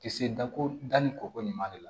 Kisi dako da ni kɔko ɲuman de la